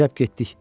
Əcəb getdik!